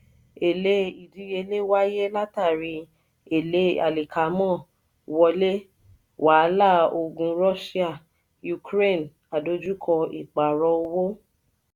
èle ìdíyelé wáyé látàrí ele alikaamo wọlé wàláà ogun russia-ukraine àdojúko ìpààrọ̀ owó.